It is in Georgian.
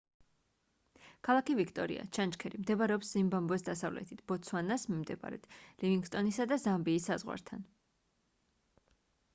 ქალაქი ვიქტორია ჩანჩქერი მდებარეობს ზიმბაბვეს დასავლეთით ბოტსვანას მიმდებარედ ლივინგსტონისა და ზამბიის საზღვართან